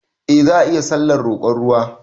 Eh za ayi sallar roƙon ruwa